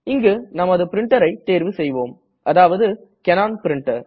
இங்கு நமது printerஐ தேர்வு செய்வோம் அதாவது கேனன் பிரின்டர்